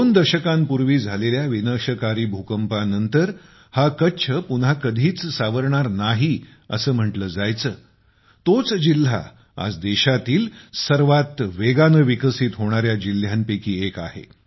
दोन दशकांपूर्वी झालेल्या विनाशकारी भूकंपानंतर हा कच्छ पुन्हा कधीच सावरणार नाही असे म्हंटले जायचे तोच जिल्हा आज देशातील सर्वात वेगाने विकसित होणाऱ्या जिल्ह्यांपैकी एक आहे